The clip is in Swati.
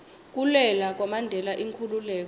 kulwela kwamandela inkhululeko